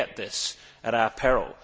We forget this at our peril.